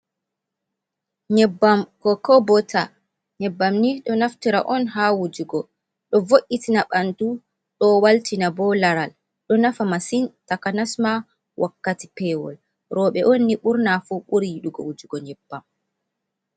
Nyebbam Kokobota, nyebbam ni ɗo naftira on haa wujugo ɗo vo'itina banndu ɗo waltina bo laral ɗo nafa masin takanas ma wakkati pewol, rewɓe on ni ɓurna fu ɓuri yiɗugo wujugo nyebbam.